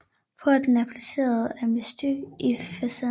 Porten er placeret asymmetrisk i facaden